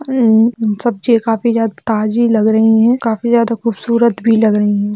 अम-म-म सब्जी काफी ज़्याद ताजी लग रही है काफी ज्यादा खूबसूरत भी लग रही है।